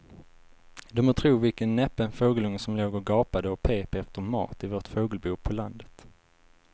Du må tro vilken näpen fågelunge som låg och gapade och pep efter mat i vårt fågelbo på landet.